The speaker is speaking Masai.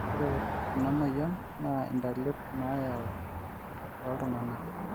ore ena moyian naa intalip nayau oo ltunganak